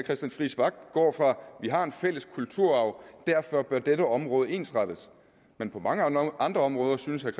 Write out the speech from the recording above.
vi har en fælles kulturarv og at dette område ensrettes men på mange andre andre områder synes herre